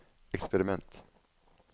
eksperiment